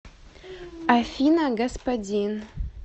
афина господин